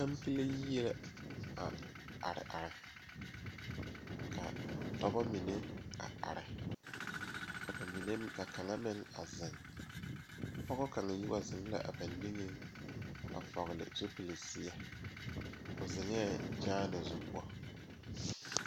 Noba gyamaa la zeŋ die poɔ ka vūūnee uri a nyɛne a die kyɛ kaa die takoe meŋ e kyaane kaa dendɔɛ mine meŋ a e kyaane.